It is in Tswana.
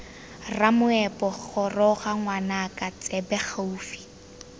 ramoepo goroga ngwanaka tsebe gaufi